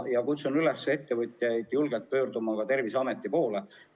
Kutsun üles ettevõtjaid julgelt pöörduma Terviseameti poole.